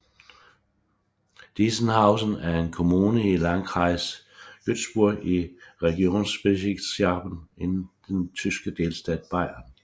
Deisenhausen er en kommune i Landkreis Günzburg i Regierungsbezirk Schwaben i den tyske delstat Bayern